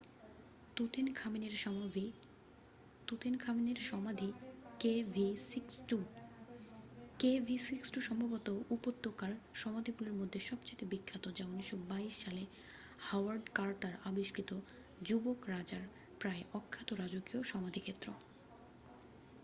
তুতেনখামেনের সমাধি kv62। kv62 সম্ভবত উপত্যকার সমাধিগুলির মধ্যে সবচেয়ে বিখ্যাত যা ১৯২২ সালে হাওয়ার্ড কার্টার আবিষ্কৃত যুবক রাজার প্রায় অক্ষত রাজকীয় সমাধিক্ষেত্র।